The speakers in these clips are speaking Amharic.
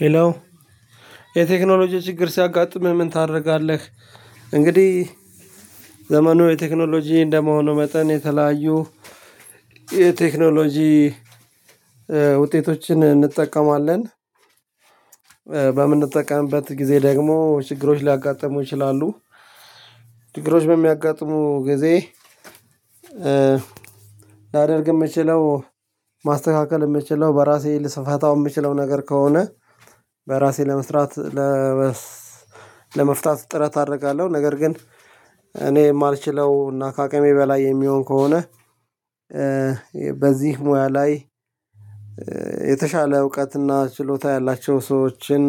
ሄሎ የቴክኖሎጂ ችግር ሲያጋጥምህ ምን ታደርጋለህ? እንግዲህ ዘመኑ የቴክኖሎጂ እንደመሆኑ መጠን የተለያዩ የቴክኖሎጂ ውጤቶችን እንጠቀማለን። በምንጠቀምበት ጊዜ ደግሞ ችግሮች ሊያጋጥሙ ይችላሉ። ችግሮች በሚያጋጥሙ ጊዜ- ላደርግ የምችለው ማስተካከል የምችለው በራሴ ልስፋታው የምችለው ነገር ከሆነ በራሴ ለመስራት- ለመፍታት ጥረት አደርጋለሁ። ነገር ግን እኔ የማልችለው እና ከአቅሜ በላይ የሚሆን ከሆነ- በዚህ ሙያ ላይ የተሻለ እውቀትና ችሎታ ያላቸው ሰዎችን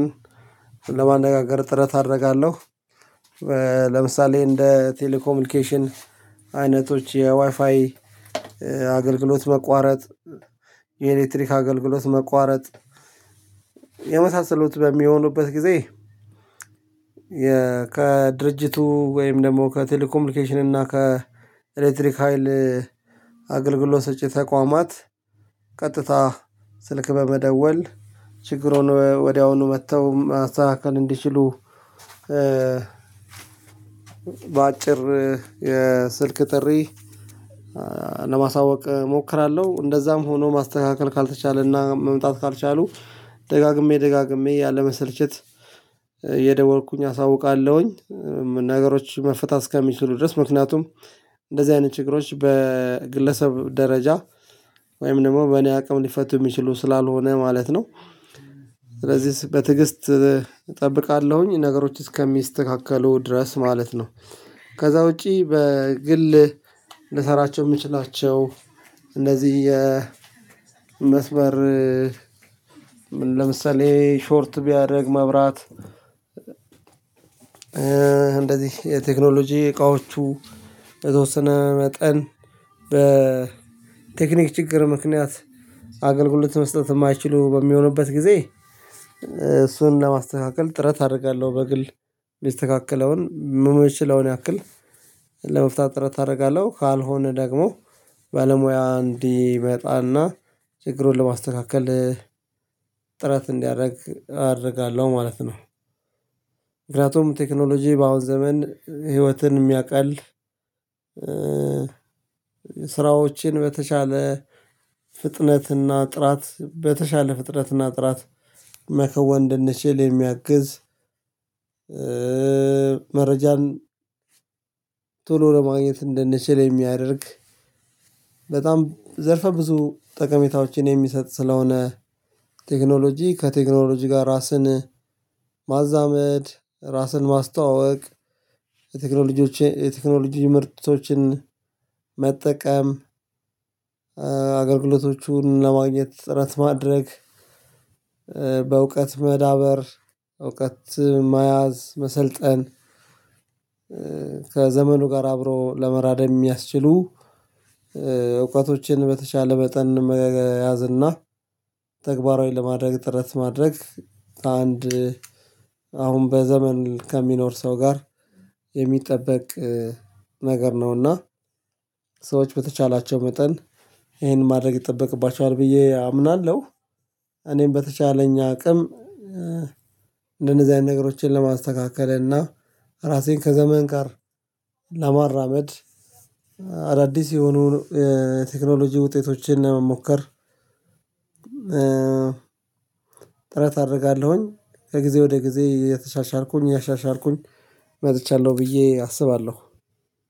ለማነጋገር ጥረት አደርጋለሁ። ለምሳሌ እንደ ቴሌኮምኒኬሽን አይነቶች የዋይፋይ አገልግሎት መቋረጥ :የኤሌክትሪክ አገልግሎት መቋረጥ የመሳሰሉት በሚሆኑበት ጊዜ- ከድርጅቱ ወይም ደግሞ ከቴሌኮሚኒኬሽን እና ከኤሌክትሪክ ሀይል አገልግሎት ሰጪ ተቋማት ቀጥታ ስልክ በመደወል ችግሩን ወዲያውኑ መጥተው ማስተናከል እንዲችሉ- በአጭር የስልክ ጥሪ ለማሳወቅ እሞክራለሁ። እንደዛም ሆኖ ማስተካከል ካልተቻለና መምጣት ካልቻሉ- ደጋግሜ ደጋግሜ ያለ መሰልቸት እየደወልኩኝ አሳውቃለሁኝ ነገሮች መፍታት እስከሚችሉ ድረስ። ምክንያቱም እንደዚህ አይነት ችግሮች በግለሰብ ደረጃ ወይም ደግሞ በእኔ አቅም ሊፈቱ የሚችሉ ስላልሆነ ማለት ነው። ስለዚህ በትዕግስት እጠብቃለሁኝ ነገሮች እስከሚስተካከሉ ድረስ ማለት ነው። ከዛ ውጪ በግል ልሰራቸው የምችላቸው እነዚህ የመስመር- ለምሳሌ ሾርት ቢያደርግ መብራት- እንደዚህ የቴክኖሎጂ እቃዎቹ በተወሰነ መጠን በቴክኒክ ችግር ምክንያት አገልግሎት መስጠት የማይችሉ በሚሆኑበት ጊዜ እሱን ለማስተካከል ጥረት አደርጋለሁ። በግል የሚስተካከለውን ምችለዉን ያክል- ለመፍታት ጥረት አደርጋለሁ። ካልሆነ ደግሞ ባለሙያ እንዲመጣና ችግሩን ለማስተካከል ጥረት እንዲያደርግ አደርጋለሁ ማለት ነው። ምክንያቱም ቴክኖሎጂ በአሁን ዘመን ህይወትን የሚያቀል- ስራዎችን በተሻለ ፍጥነትና ጥራት በተሻለ ፍጥነት እና ጥራት መከወን እድንችል የሚያግዝ- መረጃን ቶሎ ለማግኘት እንድንችል የሚያደርግ: በጣም ዘርፈ ብዙ ጠቀሜታዎችን የሚሰጥ ስለሆነ- ቴክኖሎጂ ከቴክኖሎጂ ጋር ራስን ማዛመድ :ራስን ማስተዋወቅ :የቴክኖሎጂ ምርቶችን መጠቀም- አገልግሎቶቹን ለማግኘት ጥረት ማድረግ :በእውቀት መዳበር :እውቀት መያዝ :መሰልጠን ከዘመኑ ጋር አብሮ ለመራደም የሚያስችሉ እውቀቶችን በተቻለ መጠን መያዝና ተግባራዊ ለማድረግ ጥረት ማድረግ- አንድ አሁን በዘመን ከሚኖር ሰው ጋር የሚጠበቅ ነገር ነውና። ሰዎች በተቻላቸው መጠን ይሄንን ማድረግ ይጠበቅባቸዋል ብዬ አምናለሁ። እኔም በተቻለኝ አቅም እንደነዚህ አይነት ነገሮችን ለማስተካከል እና ራሴን ከዘመን ጋር ለማራመድ- አዳዲስ የሆኑ ቴክኖሎጂ ውጤቶችን መሞከር። ጥረት አደርጋለሁኝ። ከጊዜ ወደ ጊዜ እየተሻሻልኩኝ እኔያሻሻልኩኝ መጥቻለሁ ብዬ አስባለሁ።